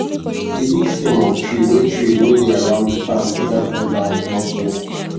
di big stem of tree wey tree wey dey around di farm dey help cool down di hot weather